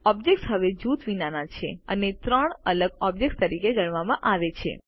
objects હવે જૂથ વિનાના છે અને ત્રણ અલગ ઓબ્જેક્ત્સ તરીકે ગણવામાં આવે છે